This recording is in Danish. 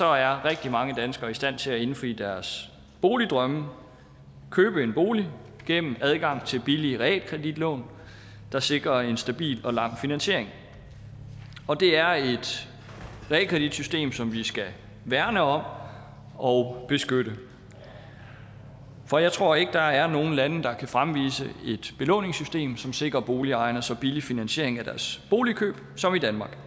er rigtig mange danskere i stand til at indfri deres boligdrømme og købe en bolig gennem adgang til billige realkreditlån der sikrer en stabil og lang finansiering det er et realkreditsystem som vi skal værne om og beskytte for jeg tror ikke at der er noget land der kan fremvise et belåningssystem som sikrer boligejerne så billig finansiering af deres boligkøb som danmark